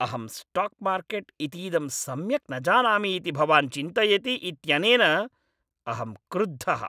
अहं stock market इतीदं सम्यक् न जानामि इति भवान् चिन्तयति इत्यनेन अहं क्रुद्धः।